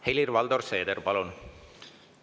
Helir-Valdor Seeder, palun!